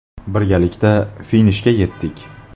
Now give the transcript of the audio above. Birgalikda finishga yetdik.